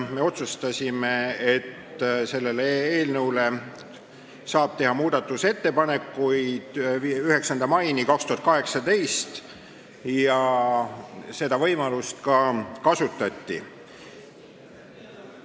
Me otsustasime, et selle eelnõu kohta saab muudatusettepanekuid teha 9. maini 2018, ja seda võimalust ka kasutati.